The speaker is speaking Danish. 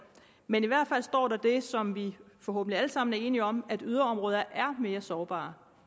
men i hvert fald står der det som vi forhåbentlig alle sammen er enige om nemlig at yderområder er mere sårbare